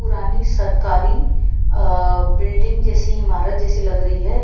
पुरानी सरकारी अ बिल्डिंग जैसी इमारत जैसी लग रही है।